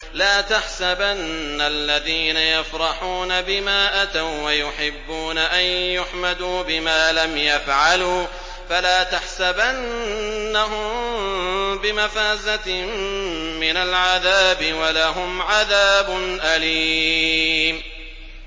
لَا تَحْسَبَنَّ الَّذِينَ يَفْرَحُونَ بِمَا أَتَوا وَّيُحِبُّونَ أَن يُحْمَدُوا بِمَا لَمْ يَفْعَلُوا فَلَا تَحْسَبَنَّهُم بِمَفَازَةٍ مِّنَ الْعَذَابِ ۖ وَلَهُمْ عَذَابٌ أَلِيمٌ